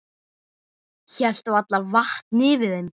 Hélt varla vatni yfir þeim.